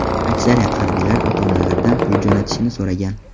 Aksariyat harbiylar ota-onalaridan pul jo‘natishini so‘ragan.